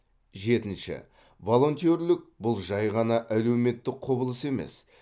жетінші волонтерлік бұл жай ғана әлеуметтік құбылыс емес